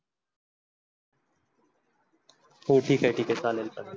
हो ठीक आहे, ठीक आहे, चालेल चालेल.